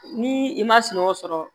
Ni i ma sunɔgɔ sɔrɔ